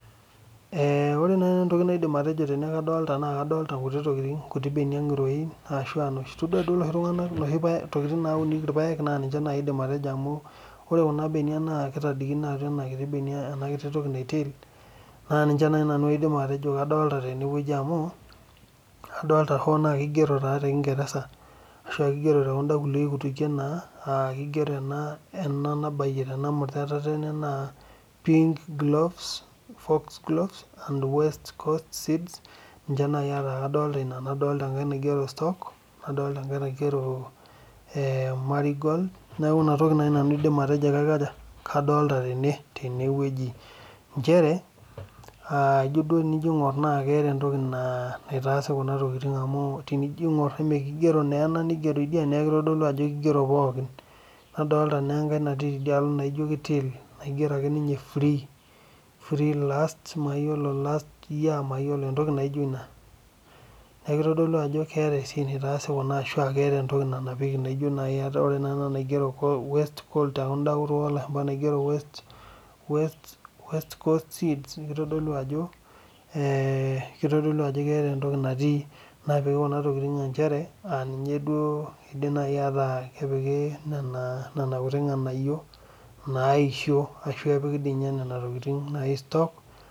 Ore naaji nanu entoki naidim atejo kadolita tenewueji naa nkuti benia ngiroin etodua duo enoshi tokitin naunikie irpaek naa ninche aidim atejo amu ore Kuna benia naata enkiti toki naitil amu adolita hoo naa kigero tee kingereza pinkgloves nadolita enkae naigero stock nadolita enkae naigero marigon neeku ena toki naaji nanu aidim atejo kadolita tenewueji njere tenijo aing'or keeta entoki naitasi Kuna tokitin amu tenijo aing'or kigero ena nigero edia neeku kidero pookin nadolita naa enkae naijio kitil naigero ninye free last year neeku kitodolu Ajo keeta esiai naitasi Kuna ashu keeta entoki nanapiekie amu ore enda naigero waste cost seeds naa kitodolu Ajo keeta entoki napiki Kuna tokitin aa kepiki nona kuti nganayio naisho ashu epiki doi ninye Nena tokitin stock